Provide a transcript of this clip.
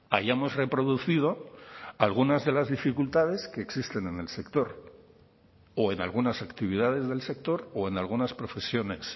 hayamos reproducido algunas de las dificultades que existen en el sector o en algunas actividades del sector o en algunas profesiones